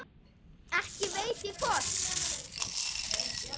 Ekki veit ég hvort